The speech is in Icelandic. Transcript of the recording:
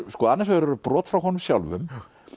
annars vegar eru brot frá honum sjálfum